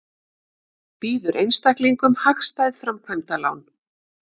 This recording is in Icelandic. Býður einstaklingum hagstæð framkvæmdalán